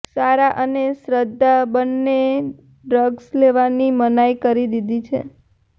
સારા અને શ્રદ્ધા બંનેએ ડ્રગ્સ લેવાની મનાઈ કરી દીધી છે